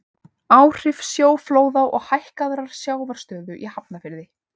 Áhrif sjóflóða og hækkaðrar sjávarstöðu í Hafnarfirði.